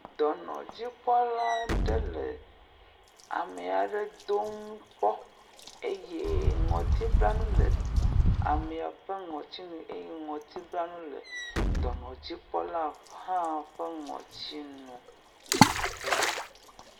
Dɔnɔdzikpɔla aɖe le ame aɖe dom kpɔ, eye ŋɔtiblanu le amea ƒe ŋɔti nu eye ŋɔtibla nu hã le dɔnɔdzikpɔla ƒe ŋuti nu le teƒea.